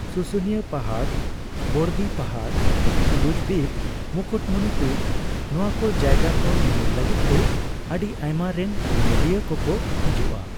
ᱥᱩᱥᱩᱱᱤᱭᱟᱹ ᱯᱟᱦᱟᱲ, ᱵᱚᱲᱫᱤ ᱯᱟᱦᱟᱲ, ᱥᱩᱵᱩᱡᱫᱤᱯ, ᱢᱩᱠᱩᱴᱢᱚᱱᱤᱯᱩᱨ, ᱱᱚᱣᱟ ᱠᱚ ᱡᱟᱭᱜᱟ ᱠᱚ ᱧᱮᱧᱮᱞ ᱞᱟᱹᱜᱤᱫᱛᱮ ᱟᱹᱰᱤ ᱟᱭᱢᱟ ᱨᱮᱱ ᱧᱮᱧᱮᱞᱤᱭᱟᱹ ᱠᱚᱠᱚ ᱦᱤᱡᱩᱜᱼᱟ ᱾